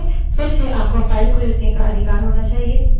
फिर से आपको file को लिखने का अधिकार होना चाहिए